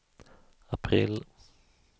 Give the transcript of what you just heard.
april